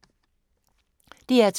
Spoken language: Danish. DR2